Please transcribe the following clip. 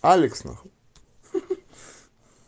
алекс на хуй ха ха